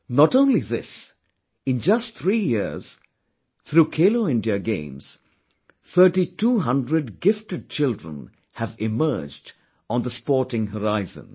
Not only this, in just three years, through 'Khelo India Games', thirtytwo hundred gifted children have emerged on the sporting horizon